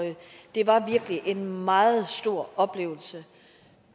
det var virkelig en meget stor oplevelse